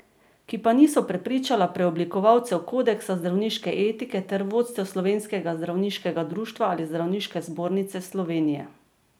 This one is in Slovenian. Ki pa niso prepričala preoblikovalcev Kodeksa zdravniške etike ter vodstev Slovenskega zdravniškega društva ali Zdravniške zbornice Slovenije.